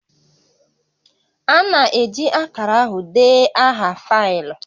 A na-eji akara ahụ dee aha faịlụ